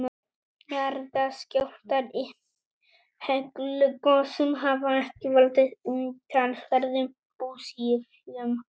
jarðskjálftar í heklugosum hafa ekki valdið umtalsverðum búsifjum